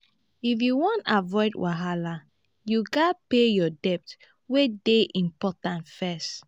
if you wan avoid wahala you gats pay your debt wey dey important first.